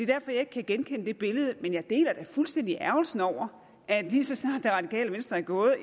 derfor jeg ikke kan genkende det billede men jeg deler da fuldstændig ærgrelsen over at lige så snart det radikale venstre er gået